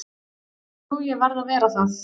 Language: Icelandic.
Jú ég verð að vera það.